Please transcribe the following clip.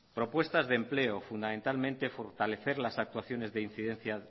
propuestas de empleo fundamentalmente fortalecer las actuaciones de incidencias